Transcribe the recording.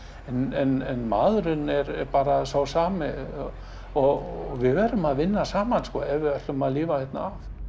en maðurinn er bara sá sami og við verðum að vinna saman ef við ætlum að lifa hérna af